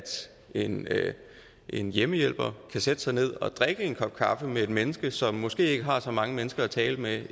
en en hjemmehjælper kan sætte sig ned og drikke en kop kaffe med et menneske som måske ikke har så mange mennesker at tale med